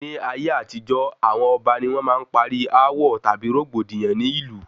Ní ayé àtijó, awọn ọba ni wọn máa ń parí awọ tàbí rògbòdìyàn ní ìlú